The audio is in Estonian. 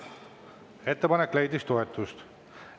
Ettepanek leidis toetust.